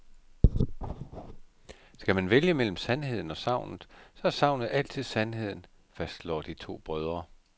Skal man vælge mellem sandheden og sagnet, så er sagnet altid sandheden, fastslår de to brødre.